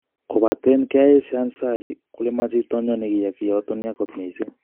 Kopataen koyesyo ansari kole mo chitanywan negiyai kiyoton yaa kot missing